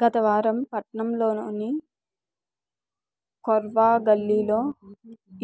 గత ఆదివారం పట్టణంలోని కోర్వాగల్లీలో